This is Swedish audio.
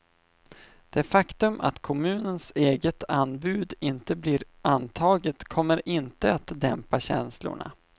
Det faktum att kommunens eget anbud inte blir antaget kommer inte att dämpa känslorna.